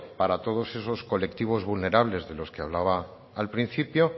para todos esos colectivos vulnerables de los que hablaba al principio